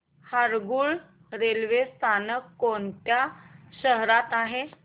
Harangul railway स्थानक कोणत्या शहरात आहे